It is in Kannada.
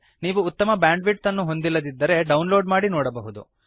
ನೀವು ಉತ್ತಮವಾದ ಬ್ಯಾಂಡ್ವಿಡ್ತ್ ಅನ್ನು ಹೊಂದಿಲ್ಲದಿದ್ದರೆ ಡೌನ್ಲೋಡ್ ಮಾಡಿ ನೋಡಬಹುದು